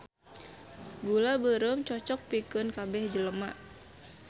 Gula beureum cocok pikeun kabeh jelema